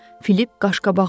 Filip qaşqabağını tökdü.